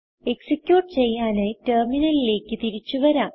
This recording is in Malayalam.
എക്സിക്യൂട്ട് ചെയ്യാനായി ടെർമിനലിലേക്ക് തിരിച്ചു വരാം